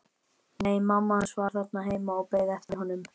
Nei, mamma hans var þarna heima og beið eftir honum.